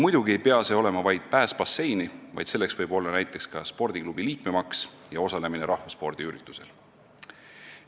Muidugi ei ole see mõeldud vaid basseini pääsuks, seda võib kasutada ka näiteks spordiklubi liikmemaksu ja rahvaspordiüritusel osalemise tasu maksmiseks.